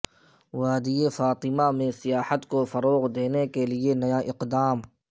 وادی فاطمہ میں سیاحت کو فروغ دینے کے لیے نیا اقدام